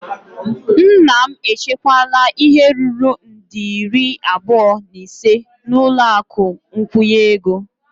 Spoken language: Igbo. Nna m echekwala ihe ruru nde iri abụọ na ise n'ụlọ akụ nkwụnye ego.